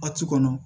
A ci kɔnɔ